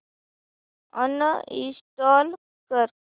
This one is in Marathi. अनइंस्टॉल कर